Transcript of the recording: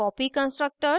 copy constructors